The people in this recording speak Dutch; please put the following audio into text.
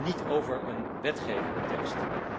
Dus niet over een wetgevende tekst.